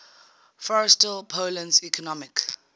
forestall poland's economic